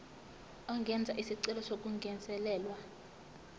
angenza isicelo sokungezelelwa